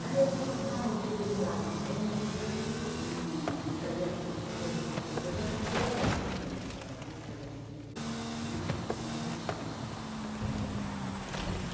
Na época, eu cantava porque eu decorava as músicas e e saía repetindo as músicas, mas a canção era muito bonita, a música era muito bonita, dançante eh, enfim.